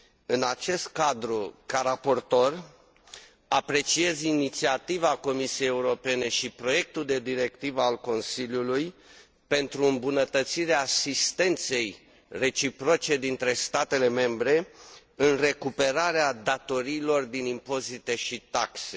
În acest cadru, ca raportor, apreciez inițiativa Comisiei Europene și proiectul de directivă a Consiliului privind îmbunătățirea asistenței reciproce dintre statele membre în vederea recuperării datoriilor din impozite și taxe.